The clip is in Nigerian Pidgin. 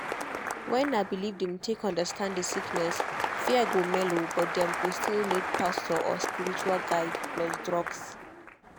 when na belief dem take understand the sickness fear go mellow but dem go still need pastor or spiritual guide plus drugs.